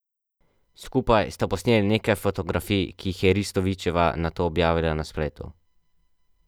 Skupaj sta posneli nekaj fotografij, ki jih je Ristovićeva nato objavila na spletu.